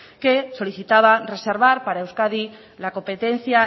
que solicitaba reservar para euskadi la competencia